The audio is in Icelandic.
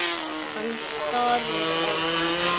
Hann starir á hana.